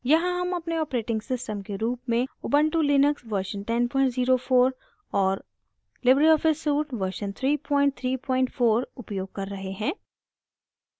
यहाँ हम अपने operating system के रूप में ubuntu लिनक्स version 1004 और लिबरे ऑफिस suite version 334 उपयोग कर रहे हैं